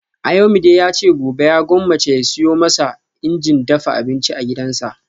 Ayomide yace gobe ya gwammace ya siyo masa injin dafa abinci a gidansa